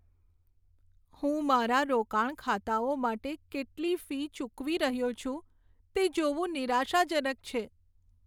હું મારા રોકાણ ખાતાઓ માટે કેટલી ફી ચૂકવી રહ્યો છું, તે જોવું નિરાશાજનક છે.